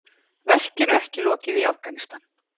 Verkinu ekki lokið í Afghanistan